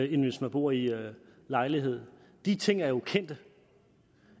end hvis man bor i lejlighed de ting er jo kendte